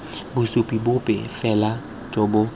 bosupi bope fela jo bo